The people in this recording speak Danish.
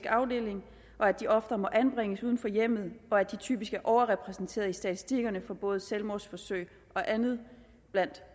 afdeling og at de oftere må anbringes uden for hjemmet og at de typisk er overrepræsenteret i statistikkerne for både selvmordsforsøg og andet blandt